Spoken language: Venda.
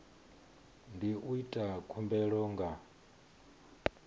ndi u ita khumbelo nga